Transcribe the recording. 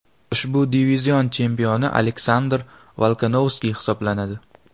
Ushbu divizion chempioni Aleksandr Volkanovski hisoblanadi.